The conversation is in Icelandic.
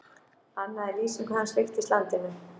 Annað í lýsingu hans líkist landinu.